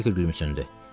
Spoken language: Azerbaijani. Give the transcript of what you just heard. Anjelika gülümsündü.